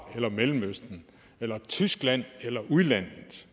eller mellemøsten eller tyskland eller udlandet